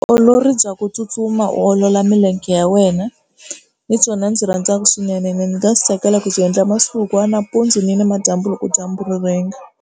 Vutiolori bya ku tsutsuma u olola milenge ya wena hi byona ndzi byi rhandzaka swinenene ndzi nga swi tsakela ku byi endla masiku hinkwawo nampundzu ni namadyambu loko dyambu ri rhenga.